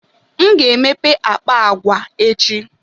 M ga-emepe akpa agwa echi.